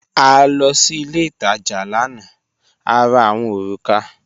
A lọ sí ilẹ̀ itaja lána, à rà awọn orúkà.